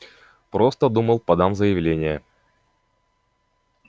просто думал подам заявление